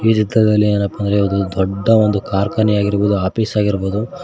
ಚಿತ್ರದಲ್ಲಿ ಏನಪ್ಪಾ ಅಂದ್ರೆ ಒಂದು ದೊಡ್ಡ ಒಂದು ಕಾರ್ಖಾನೆ ಆಗಿರಬಹುದು ಆಫೀಸ್ ಆಗಿರಬಹುದು--